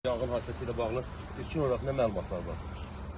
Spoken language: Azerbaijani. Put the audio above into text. Yanğın hadisəsi ilə bağlı ilkin olaraq nə məlumatlar var?